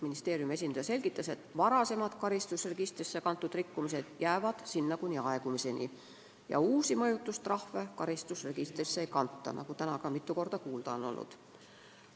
Ministeeriumi esindaja selgitas, et varem karistusregistrisse kantud rikkumised jäävad sinna kuni aegumiseni, aga uusi mõjutustrahve karistusregistrisse ei kanta, nagu täna juba mitu korda on öeldud.